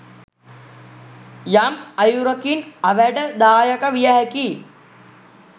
යම් අයුරකින් අවැඩ දායක විය හැකියි